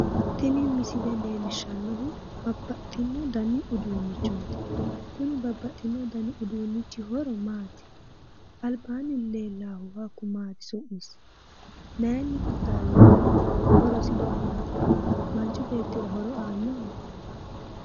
Tini misile leellishshannohu babbaxino dani uduunnichooti kuni babbaxxino dani uduunnichi horo maati? Albaanni leellaahu hakku maati su'misi? Maayiinni qixxaawinoho? Horosi maati? Manchu beettira horo aannoho?